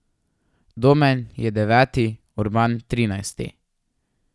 Domen je deveti, Urban trinajsti.